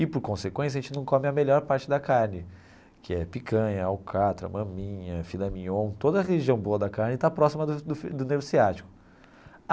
E, por consequência, a gente não come a melhor parte da carne, que é picanha, alcatra, maminha, filé mignon, toda a região boa da carne está próxima do do do nervo ciático.